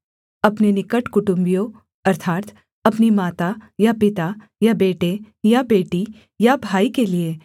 अपने निकट कुटुम्बियों अर्थात् अपनी माता या पिता या बेटे या बेटी या भाई के लिये